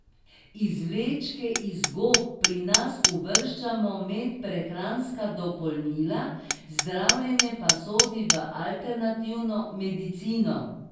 Izvlečke iz gob pri nas uvrščamo med prehranska dopolnila, zdravljenje pa sodi v alternativno medicino.